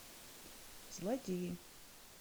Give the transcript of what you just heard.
злодеи